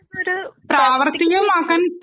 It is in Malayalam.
ഒരു പ്രാവർത്തികമാക്കാൻ